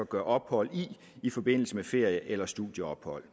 gør ophold i forbindelse med ferie eller studieophold